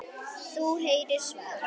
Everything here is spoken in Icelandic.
Þú heyrir svar.